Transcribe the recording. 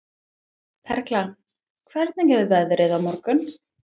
Perla, hvernig er veðrið á morgun?